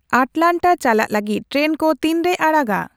ᱟᱴᱞᱟᱱᱴᱟᱨ ᱪᱟᱞᱟᱜ ᱞᱟᱹᱜᱤᱫ ᱴᱨᱮᱱ ᱠᱚ ᱛᱤᱱᱨᱮᱭ ᱟᱲᱟᱜᱟ